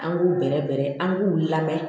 An b'u bɛrɛbɛrɛ an k'u lamɛn